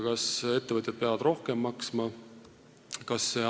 Kas ettevõtjad peavad rohkem maksma?